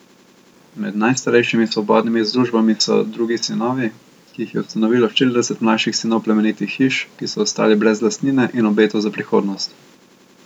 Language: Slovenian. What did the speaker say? Med najstarejšimi svobodnimi združbami so Drugi sinovi, ki jih je ustanovilo štirideset mlajših sinov plemenitih hiš, ki so ostali brez lastnine in obetov za prihodnost.